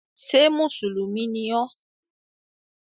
Ṣé mùsùlùmí ni ọ?